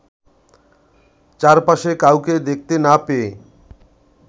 চারপাশে কাউকে দেখতে না পেয়ে